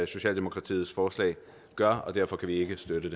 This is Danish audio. socialdemokratiets forslag gør og derfor kan vi ikke støtte